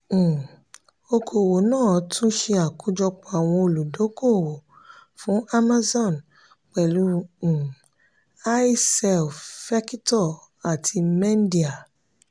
um òkòwò náà tún se akojọpọ àwọn olùdókówó fún amazon pẹlu um i-cell fẹkitọ àti mendia.